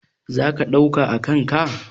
Za ka ɗauka a kan ka?